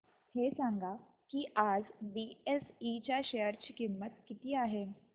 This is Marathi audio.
हे सांगा की आज बीएसई च्या शेअर ची किंमत किती आहे